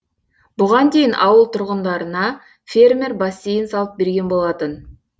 бұған дейін ауыл тұрғындарына фермер бассейн салып берген болатын